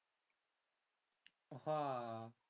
হ